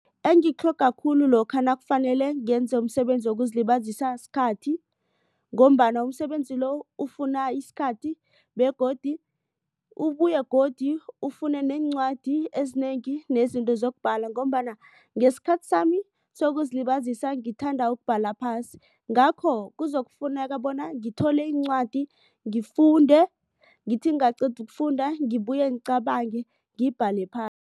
Engikutlhoga khulu lokha nakufanele ngenze umsebenzi wokuzilibazisa sikhathi. Ngombana umsebenzi lo ufuna isikhathi begodu ubuye godu ufune neencwadi ezinengi nezinto zokubhala. Ngombana ngesikhathi sami sokuzilibazisa ngithanda ukubhala phasi. Ngakho kuzokufuneka bona ngithole iincwadi ngifunde ngithi ngingaqeda ukufunda ngibuye ngicabange ngibhale